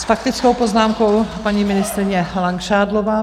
S faktickou poznámkou paní ministryně Langšádlová.